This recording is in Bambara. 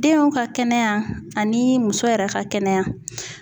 Denw ka kɛnɛya ani muso yɛrɛ ka kɛnɛya